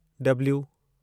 W